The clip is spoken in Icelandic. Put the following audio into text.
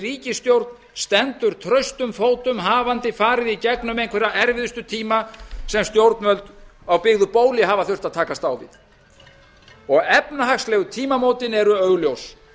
ríkisstjórn stendur traustum fótum hafandi farið í gegnum einhverja erfiðustu tíma sem stjórnvöld á byggðu bóli hafa þurft að takast á við efnahagslegu tímamótin eru augljós